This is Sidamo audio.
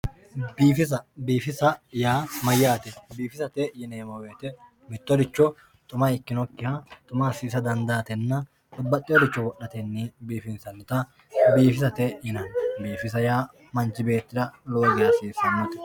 biifisa biifisa yaa mayaate biifisate yineemo woyiite mittoricho xuma ikinokiha xuma asiisa dandaatenna babbaxioricho wodhatenni biifinsanita biifisate yinani biifisa yaa manchi beettira lowo geya hasiisannote.